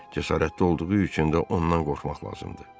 Cəsarətli olduğu üçün də ondan qorxmaq lazımdır.